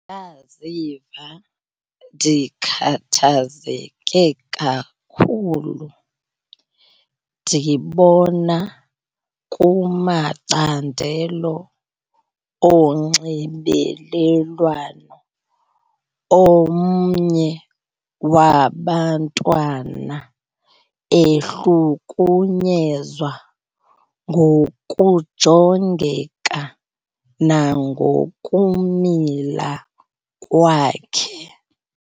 Ndaziva ndikhathazeke kakhulu ndibona kumacandelo onxibelelwano omnye wabantwana ehlukunyezwa ngokujongeka nangokumila kwakhe.